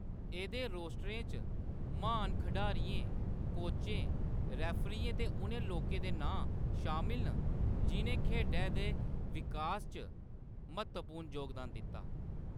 एह्‌‌‌दे रोस्टरें च महान खिढारियें, कोचें, रेफरियें ते उ'नें लोकें दे नांऽ शामल न जि'नें खेढै दे विकास च म्हत्तवपूर्ण जोगदान दित्ता।